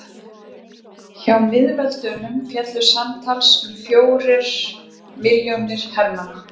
hjá miðveldunum féllu samtals um fjórir milljónir hermanna